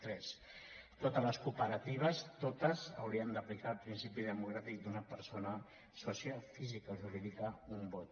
tres totes les cooperatives totes haurien d’aplicar el principi democràtic d’una persona sòcia física o jurídica un vot